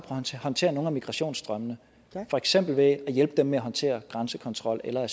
at håndtere nogle af migrationsstrømmene for eksempel ved at hjælpe dem med at håndtere grænsekontrol eller